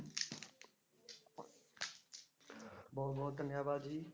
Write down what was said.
ਬਹੁਤ ਬਹੁਤ ਧੰਨਵਾਦ ਜੀ।